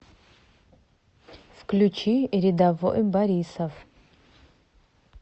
включи рядовой борисов